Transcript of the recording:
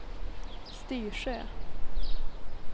Styrsö